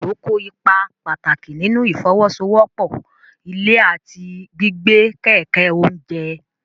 Kòkòrò kó ipa pàtàkì nínú ìfọwọ́sowọ́pọ̀ ilẹ̀ àti gbígbé kẹ̀kẹ́ oúnjẹ.